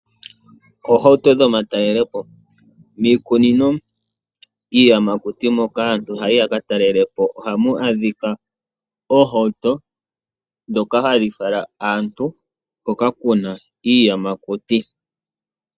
Oohauto dhomatalelepo, miikunino yiiyamakuti moka aantu haya yi yakatalele po ohamu adhika oohauto ndhoka hadhi fala aantu hoka kuna iiyamakuti.